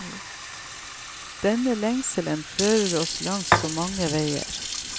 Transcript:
Denne lengselen fører oss langs så mange veier.